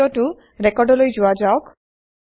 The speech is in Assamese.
দ্বিতীয়টো ৰেকৰ্ডলৈ যোৱা যাওক